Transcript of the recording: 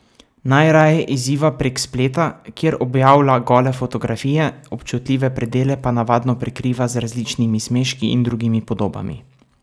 Najraje izziva prek spleta, kjer objavlja gole fotografije, občutljive predele pa navadno prekriva z različnimi smeški in drugimi podobami.